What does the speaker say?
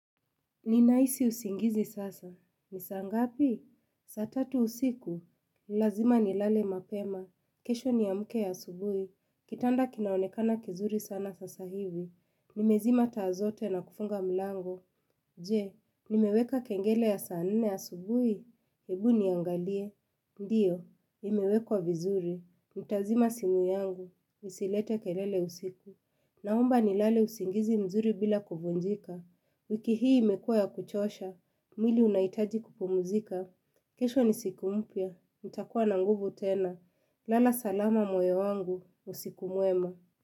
Ninahisi usingizi sasa. Ni saa ngapi? Sa tatu usiku. Lazima nilale mapema. Kesho ni amke asubuhi. Kitanda kinaonekana kizuri sana sasa hivi. Nimezima taa zote na kufunga mlango. Je, nimeweka kengele ya saa nne asubuhi. Hebu niangalie. Ndiyo, imewekwa vizuri. Nitazima simu yangu. Isilete kelele usiku. Naomba nilale usingizi mzuri bila kuvunjika. Wiki hii imekua ya kuchosha, mwili unahitaji kupumzika. Kesho ni siku mpya, nitakuwa na nguvu tena. Lala salama moyo wangu, usiku mwema.